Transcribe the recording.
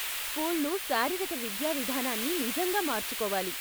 స్కూళ్ళు శారీరిక విద్యా విధానాన్ని నిజంగా మార్చుకోవాలి.